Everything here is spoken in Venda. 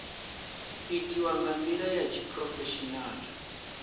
itiwa nga ndila ya tshiphurofeshinala